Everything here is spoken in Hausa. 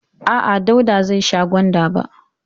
A'a, Dauda zai sha gwanda ba.